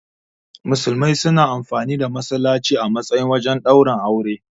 Musulmai suna amfani da. masallaci a matsayin wajen ɗaurin aure.